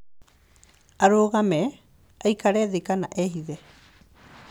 Arũgame, aikare thĩ kana ehithe.